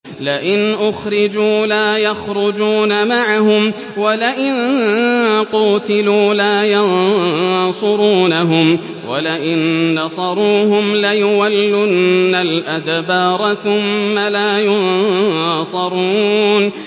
لَئِنْ أُخْرِجُوا لَا يَخْرُجُونَ مَعَهُمْ وَلَئِن قُوتِلُوا لَا يَنصُرُونَهُمْ وَلَئِن نَّصَرُوهُمْ لَيُوَلُّنَّ الْأَدْبَارَ ثُمَّ لَا يُنصَرُونَ